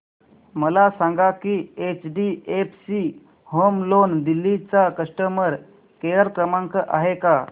मला सांगा की एचडीएफसी होम लोन दिल्ली चा कस्टमर केयर क्रमांक आहे का